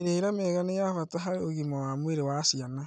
Mĩrĩre mĩega nĩ ya bata harĩ ũgima wa mwĩrĩ wa ciana